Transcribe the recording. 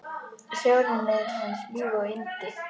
Sjórinn er hans líf og yndi!